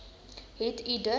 het u dit